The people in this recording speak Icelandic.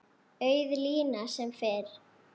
Auð lína sem fyrr.